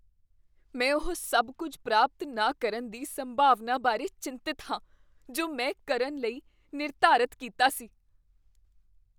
ਮੈਂ ਉਹ ਸਭ ਕੁੱਝ ਪ੍ਰਾਪਤ ਨਾ ਕਰਨ ਦੀ ਸੰਭਾਵਨਾ ਬਾਰੇ ਚਿੰਤਤ ਹਾਂ ਜੋ ਮੈਂ ਕਰਨ ਲਈ ਨਿਰਧਾਰਤ ਕੀਤਾ ਸੀ।